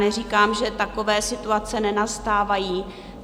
Neříkám, že takové situace nenastávají.